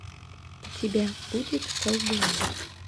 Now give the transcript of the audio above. у тебя будет колдунья